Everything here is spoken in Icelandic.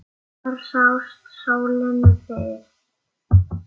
Þar sást sólin fyrr.